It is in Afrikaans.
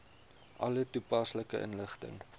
alle toepaslike inligting